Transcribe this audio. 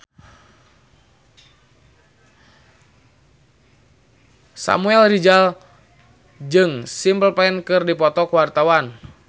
Samuel Rizal jeung Simple Plan keur dipoto ku wartawan